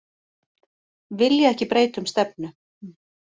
Vilja ekki breyta um stefnu